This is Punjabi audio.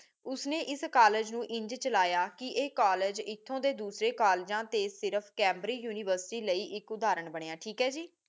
ਉਸਨੇ ਇਸ ਕਾਲਜ ਨੂੰ ਇੰਜ ਚਲਾਯਾ ਕਹ ਇਹ ਕਾਲਜ ਏਥੋਂ ਦੇ ਦੂਜੀ ਕਾਲਜਾ ਤੇ ਸਿਰਫ ਕੈਮਬ੍ਰਿੰਗ ਯੂਨੀਵਰਸਿਟੀ ਲਈ ਇਕ ਉਧਾਰਨ ਬਨਯ ਠੀਕ ਹੈ ਜੀ